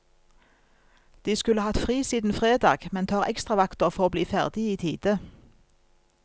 De skulle hatt fri siden fredag, men tar ekstravakter for å bli ferdig i tide.